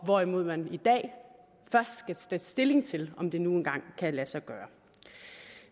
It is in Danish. hvorimod man i dag først skal tage stilling til om det nu engang kan lade sig gøre